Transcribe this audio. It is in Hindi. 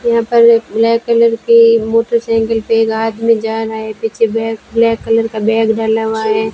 यहां पर एक ब्लैक कलर की मोटरसाइकिल पे एक आदमी जारहा है पीछे बैक ब्लैक कलर का बैग डाला हुआ है।